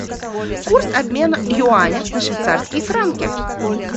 курс обмена юаня на швейцарские франки